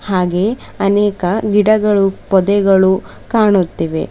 ಹಾಗೆಯೇ ಅನೇಕ ಗಿಡಗಳು ಪೊದೆಗಳು ಕಾಣುತ್ತಿವೆ.